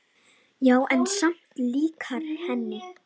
Já, en samt líkari henni.